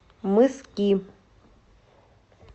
мыски